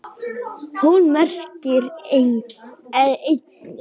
Hún merkir einnig?